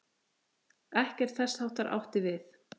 Ekkert þess háttar átti við.